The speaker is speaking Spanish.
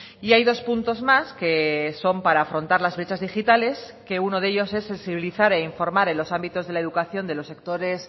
y hay dos puntos más que son para afrontar las brechas digitales que uno de ellos es sensibilizar e informar en los ámbitos de la educación de los sectores